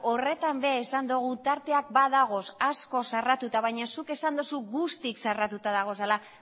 horretan ere esan dogu tarteak badagoz asko zarratuta baina zuk esan dozu guztiz zarratuta dagozala